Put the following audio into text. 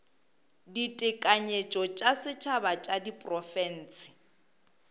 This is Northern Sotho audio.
ditekanyetšo tša setšhaba tša diprofense